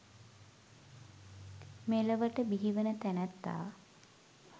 මෙලොවට බිහිවන තැනැත්තා